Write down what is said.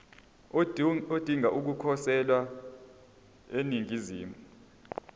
odinga ukukhosela eningizimu